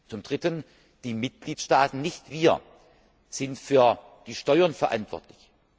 Zum Dritten Die Mitgliedstaaten nicht wir sind für die Steuern verantwortlich.